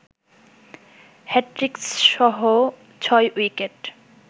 হ্যাটট্রিকসহ ৬ wicket